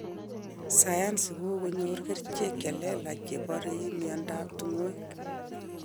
Sayansi kokoyor kerchek chelelach chepore miandap tukoek.